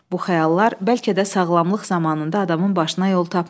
Bu xəyallar bəlkə də sağlamlıq zamanında adamın başına yol tapmır.